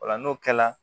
Ola n'o kɛla